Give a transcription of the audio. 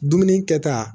Dumuni kɛta